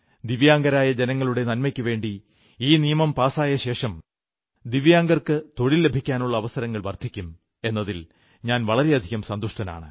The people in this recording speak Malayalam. ദിവ്യാംഗരായ ജനങ്ങളുടെ നന്മയ്ക്കുവേണ്ടി ഈ നിയമം പാസായ ശേഷം ദിവ്യാംഗർക്ക് തൊഴിൽ ലഭിക്കാനുള്ള അവസരങ്ങൾ വർധിക്കും എന്നതിൽ ഞാൻ വളരെയധികം സന്തുഷ്ടനാണ്